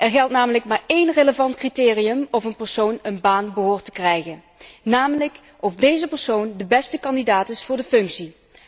Er geldt namelijk maar één relevant criterium of een persoon een baan behoort te krijgen, namelijk of deze persoon de beste kandidaat is voor de functie.